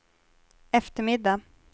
eftermiddag